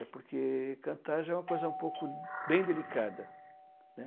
É porque cantar já é uma coisa um pouco, bem delicada, né?